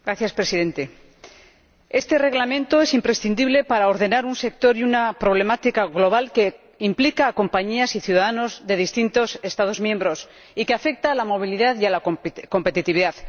Señor Presidente, este Reglamento es imprescindible para ordenar un sector y una problemática global que implica a compañías y ciudadanos de distintos Estados miembros y que afecta a la movilidad y a la competitividad.